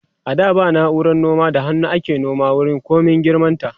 a da ba nauran noma da hannu ake nome wuri komin girman ta